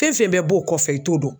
Fɛn fɛn bɛ b'o kɔfɛ i t'o dɔn .